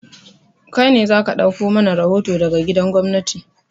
Kai ne za ka ɗauko mana rahoto daga gidan gwamnati!